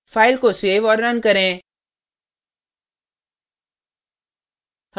file को save और run करें